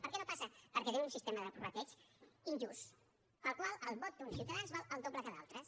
per què no passa perquè tenim un sistema de prorrateig injust pel qual el vot d’uns ciutadans val el doble que el d’altres